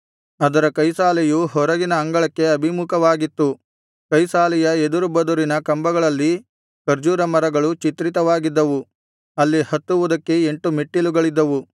ಅದರ ಕೈಸಾಲೆಯು ಹೊರಗಿನ ಅಂಗಳಕ್ಕೆ ಅಭಿಮುಖವಾಗಿತ್ತು ಕೈಸಾಲೆಯ ಎದುರುಬದುರಿನ ಕಂಬಗಳಲ್ಲಿ ಖರ್ಜೂರ ಮರಗಳು ಚಿತ್ರಿತವಾಗಿದ್ದವು ಅಲ್ಲಿ ಹತ್ತುವುದಕ್ಕೆ ಎಂಟು ಮೆಟ್ಟಿಲುಗಳಿದ್ದವು